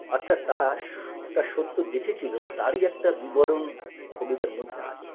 অর্থাৎ তারা সস একটা সত্য দেখেছিল তারই একটা বিবরণ কবিতার মধ্যে আছে